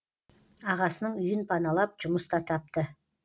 ағасының үйін паналап жұмыс та тапты